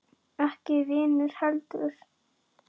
Ekki vinnu heldur.